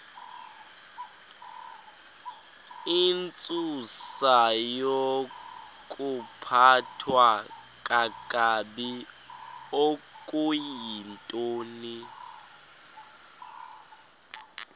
intsusayokuphathwa kakabi okuyintoni